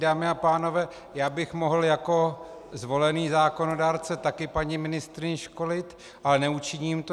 Dámy a pánové, já bych mohl jako zvolený zákonodárce taky paní ministryni školit, ale neučiním to.